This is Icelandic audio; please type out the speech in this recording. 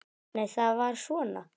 Nei, það var svona!